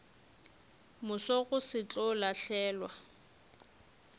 moso go se tlo lahlelwa